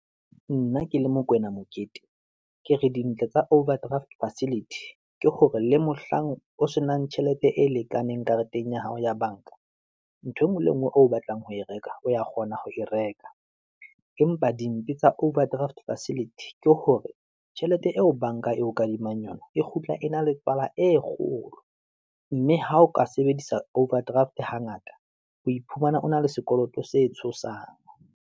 Nna ke le Mokoena Mokete, ke re dintle tsa overdraft facility ke hore le mohlang o se nang tjhelete e lekaneng kareteng ya hao ya bank-a, nthwe nngwe le nngwe o batlang ho e reka, o ya kgona ho e reka. Empa dimpe tsa overdraft facility ke hore tjhelete eo bank-a eo kadimang yona, e kgutla, e na le tswala e kgolo, mme ha o ka sebedisa overdraft, hangata o iphumana o na le sekoloto setshosang.